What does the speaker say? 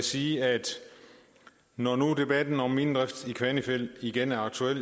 sige at når nu debatten om minedrift i kvanefjeld igen er aktuel